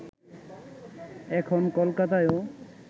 এখন কলকাতায়ও